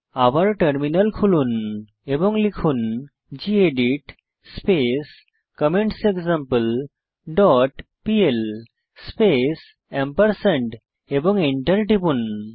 আবার টার্মিনাল খুলুন এবং লিখুন gedit space comments example dot PL space এবং এন্টার টিপুন